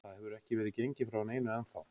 Það hefur ekki verið gengið frá neinu ennþá.